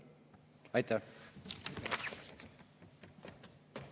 Aitäh!